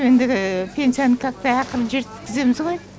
ендігі пенсьяны тартпай ақырын жеткіземіз ғой